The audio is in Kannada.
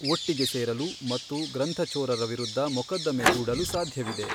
ಒಟ್ಟಿಗೆ ಸೇರಲು ಮತ್ತು ಗ್ರಂಥಚೋರರ ವಿರುದ್ಧ ಮೊಕದ್ದಮೆ ಹೂಡಲು ಸಾಧ್ಯವಿದೆ.